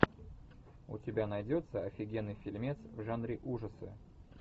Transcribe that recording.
у тебя найдется офигенный фильмец в жанре ужасы